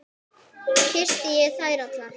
Kyssti ég þær allar.